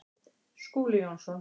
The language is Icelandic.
Skúli Jónsson